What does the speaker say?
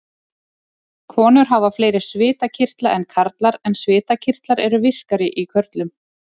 Konur hafa fleiri svitakirtla en karlar en svitakirtlar eru virkari í körlum.